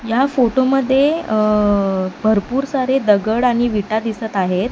या फोटोमध्ये अह भरपूर सारे दगड आणि विटा दिसत आहेत.